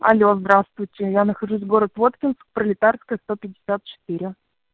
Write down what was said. алло здравствуйте я нахожусь в город воткинск пролетарская сто пятьдесят четыре